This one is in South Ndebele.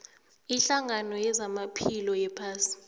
ihlangano yezamaphilo yephasi